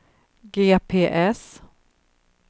GPS